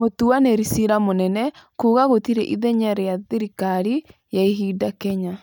Mũtuanĩri cira mũnene kuuga gũtirĩ ithenya rĩa thirikari ya ihinda Kenya.